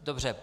Dobře.